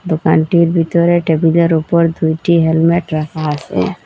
দোকানটির ভিতরে টেবিলের উপর দুইটি হেলমেট রাখা আসে ।